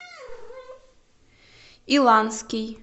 иланский